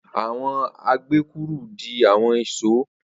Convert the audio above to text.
Awọn agekuru di awọn ìṣó.